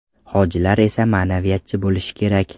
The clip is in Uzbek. Hojilar esa ma’naviyatchi bo‘lishi kerak .